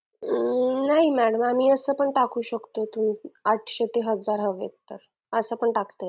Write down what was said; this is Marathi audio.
नाही madam आम्ही असं पण टाकू शकतो की आठशे ते हजार हवेत का असं पण टाकतात